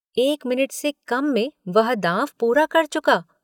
एक मिनट से कम में वह दाँव पूरा कर चुका।